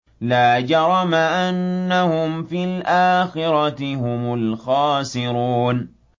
لَا جَرَمَ أَنَّهُمْ فِي الْآخِرَةِ هُمُ الْخَاسِرُونَ